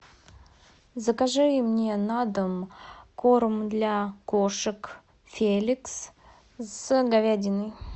закажи мне на дом корм для кошек феликс с говядиной